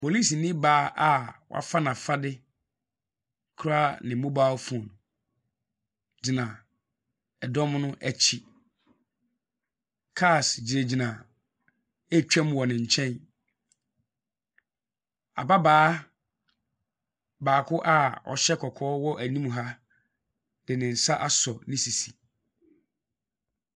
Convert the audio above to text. Polisini baa a wafa n'afade kura ne mobile phone gyina dɔm no akyi. Cars gyinagyina retwam wɔ ne nkyɛn. Ababaawa baako a ɔhyɛ kɔkɔɔ wɔ anim ha de ne nsa asɔ ne sisi.